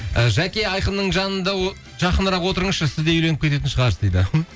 жәке айқынның жанында жақынырақ отырыңызшы сізде үйленіп кететін шығарсыз дейді хм